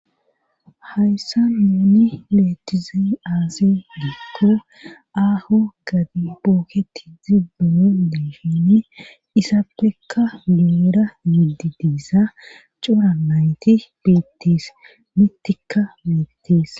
hayssa nuuni betize aase giko aaho gadi booketi zibbuno difini isaapfekka numera yidi diissa coranayti beettis mittikka beettis